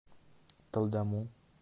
талдому